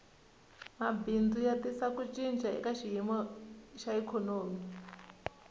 mabindzu ya tisa ku cinca eka xiyimo xa ikhonomi